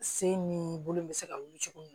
Sen ni bolo bɛ se ka wuli cogo min